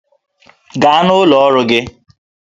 Gaa n'ụlọ ọrụ gị!